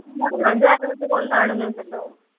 ഒന്നാണെന്നുണ്ടോ